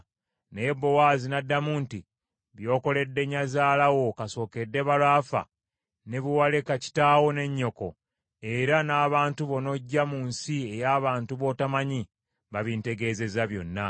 Naye Bowaazi n’addamu nti, “By’okoledde nnyazaala wo kasookedde balo afa, ne bwe waleka kitaawo ne nnyoko era n’abantu bo n’ojja mu nsi ey’abantu botomanyi, babintegezezza byonna.